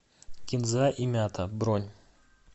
кинза и мята бронь